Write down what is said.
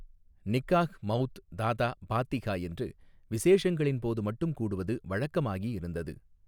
நிக்காஹ் மௌத் தாதா பாத்திஹா என்று விஸேஷங்களின் போது மட்டும் கூடுவது வழக்கமாகியிருந்தது.